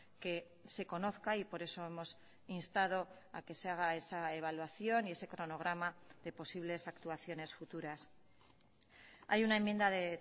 que se conozca y por eso hemos instado a que se haga esa evaluación y ese cronograma de posibles actuaciones futuras hay una enmienda de